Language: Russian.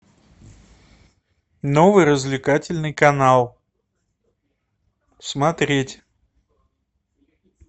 новый развлекательный канал смотреть